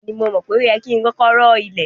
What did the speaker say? Bẹ́ẹ̀ni, mo mọ̀ pé o yẹ ki n kọkọ rọ ilẹ̀.